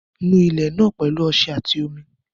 Nu ilé náà pẹ̀lú omi àti ọṣẹ